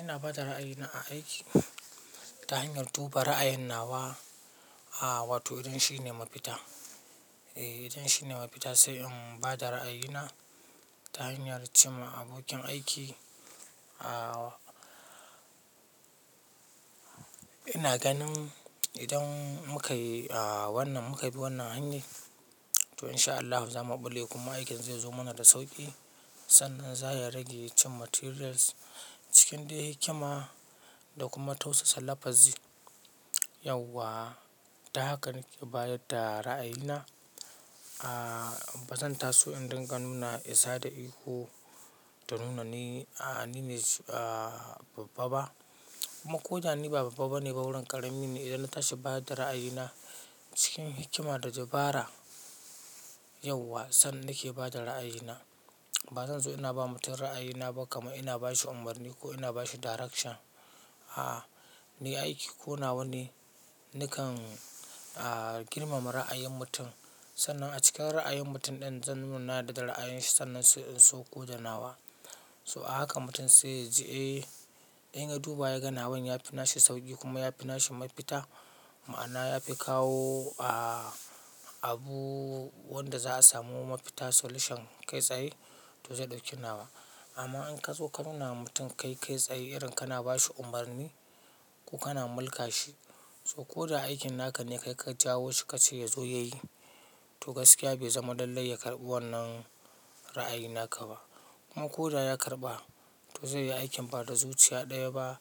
Ina ba da ra'ayina a aiki ta hanyar duba ra'ayin nawa, a wato idan shine mafita. Idan shine mafita sai in ba da ra'ayina ta hanyar cimma abokin aiki. Ina ganin idan muka yi wannan, muka bi wannan hanyar to in sha Allahu za mu ɓulle kuma aikin zai zo mana da sauƙi. Sannan za ya rage cin materials cikin dai hikima da kuma tausasa lafazi. Yauwa, ta haka nake bayar da ra'ayina. Ba zan taso in dinga nuna isa da ihu ta nuna ni ne babba ba. Kuma ko da ni ba babba bane ba wurin ƙarami ne. Idan na tashi ba da ra'ayina cikin hikima da dabara yau wa sannan nake ba da ra'ayina. Ba zan so ina ba mutum ra'ayina ba kamar ina bashi umarni ko ina bashi direction. Ni aiki ƙo nawane nakan girmama ra'ayin mutum sannan a cikin ra'ayin mutum din zan nuna da ra'ayinsa sannan in so ko da nawa. So a haka mutum zai ji eh in ya duba ya ga nawan ya fi nashi sauƙi kuma yafi nashi mafita. Ma'ana ya fi kawo abu wanda za a samu mafita solution kai tsaye to zai ɗauki nawa. Amma in ka zo ka nuna wa mutum kai tsaye irin kana bashi umarni ko kana mulka shi. So ko da aikin naka ne ka jawo shi ka ce ya zo ya yi to gaskiya bai zama lallai ya karɓi wannan ra'ayi naka ba. Kuma ko da ya karɓa to zai yi aikin ba da zuciya ɗaya ba.